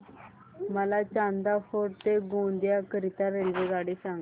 मला चांदा फोर्ट ते गोंदिया करीता रेल्वेगाडी सांगा